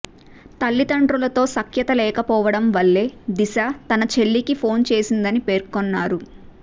తల్లిదండ్రులతో సఖ్యత లేకపోవడం వల్లే దిశ తన చెల్లికి ఫోన్ చేసిందని పేర్కొన్నారు